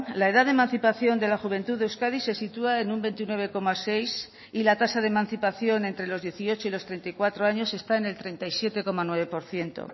la edad de emancipación de la juventud de euskadi se sitúa en un veintinueve coma seis y la tasa de emancipación entre los dieciocho y los treinta y cuatro años está en el treinta y siete coma nueve por ciento